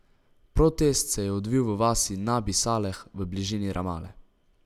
Protest se je odvil v vasi Nabi Saleh v bližini Ramale.